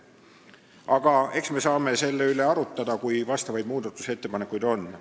Aga eks me saame selle üle arutada, kui muudatusettepanekuid tuleb.